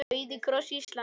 Rauði kross Íslands